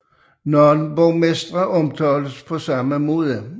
Nogle borgmestre omtales på samme måde